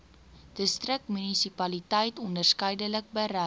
distriksmunisipaliteit onderskeidelik bereid